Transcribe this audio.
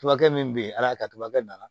Turakɛ min be yen ala y'a kɛ tuma bɛɛ na